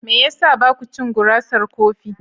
Me ya sa ba ku cin gurasar kofi?